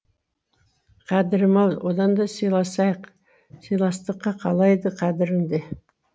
қадірім ау оданда силасайық силастықта қалайды қадірімді